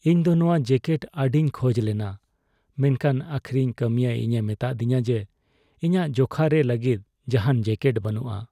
ᱤᱧ ᱫᱚ ᱱᱚᱣᱟ ᱡᱮᱠᱮᱴ ᱟᱹᱰᱤᱧ ᱠᱷᱚᱡ ᱞᱮᱱᱟ ᱢᱮᱱᱠᱷᱟᱱ ᱟᱹᱠᱷᱨᱤᱧ ᱠᱟᱹᱢᱤᱭᱟᱹ ᱤᱧᱮ ᱢᱮᱛᱟᱫᱤᱧᱟ ᱡᱮ ᱤᱧᱟᱜ ᱡᱚᱠᱷᱟ ᱨᱮ ᱞᱟᱹᱜᱤᱫ ᱡᱟᱦᱟᱱ ᱡᱮᱠᱮᱴ ᱵᱟᱹᱱᱩᱜᱼᱟ ᱾